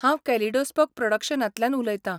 हांव कॅलिडोस्कोप प्रॉडक्शनांतल्यान उलयतां.